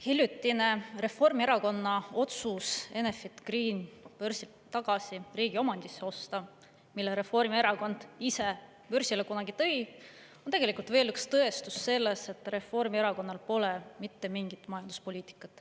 Hiljutine Reformierakonna otsus osta börsilt tagasi riigi omandisse Enefit Green, mille Reformierakond ise kunagi börsile tõi, on tegelikult veel üks tõestus sellest, et Reformierakonnal pole mitte mingit majanduspoliitikat.